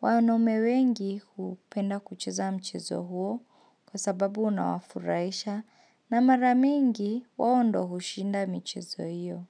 wanaume wengi upenda kucheza mchezo huo kwa sababu unawafurahisha na maramingi wao ndio hushinda michezo hiyo.